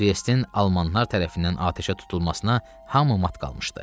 Triesin almanlar tərəfindən atəşə tutulmasına hamı mat qalmışdı.